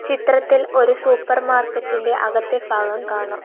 ചിത്രത്തിൽ ഒരു സൂപ്പർ മാർക്കറ്റിന്റെ അകത്തെ ഭാഗം കാണാം.